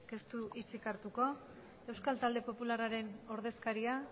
ez du hitzik hartuko euskal talde popularraren ordezkaria